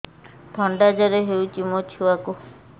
ଥଣ୍ଡା ଜର ହେଇଚି ମୋ ଛୁଆକୁ